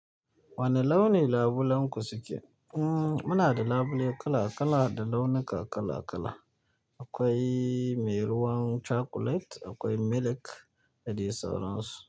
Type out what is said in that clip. Wane launi labulen ku suke? Mm muna da labule kala-kala da launuka kala-kala. Akwai mai ruwan cakulet akwai milik da dai sauran su.